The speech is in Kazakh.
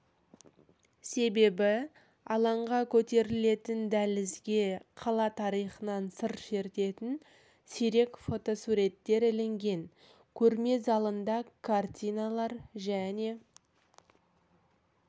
себебі алаңға көтерілетін дәлізге қала тарихынан сыр шертетін сирек фотосуреттер ілінген көрме залында картиналар және